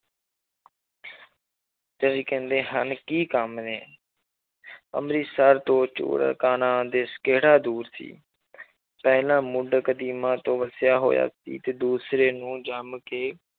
ਤੇ ਕਹਿੰਦੇ ਹਨ ਕੀ ਕੰਮ ਨੇ ਅੰਮ੍ਰਿਤਸਰ ਤੋਂ ਚੂਹੜ ਕਾਣਾ ਦੇਸ ਕਿਹੜਾ ਦੂਰ ਸੀ ਪਹਿਲਾਂ ਮੁੱਢ ਕਦੀਮਾਂ ਤੋਂ ਵਸਿਆ ਹੋਇਆ ਸੀ ਤੇ ਦੂਸਰੇ ਨੂੰ ਜੰਮ ਕੇ